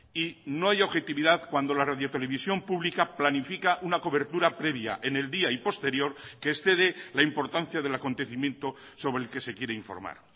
y no hay objetividad cuando la radio televisión pública planifica una cobertura previa en el día y posterior que excede la importancia del acontecimiento sobre el que se quiere informar